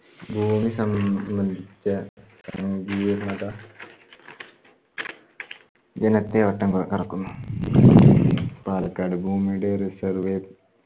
ഭൂമി സംബന്ധിച്ച സംഘീര്ണത ജനത്തെ വട്ടം കറക്കുന്നു. പാലക്കാട് ഭൂമിയുടെ resurvey